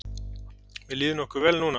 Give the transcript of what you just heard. Mér líður nokkuð vel núna.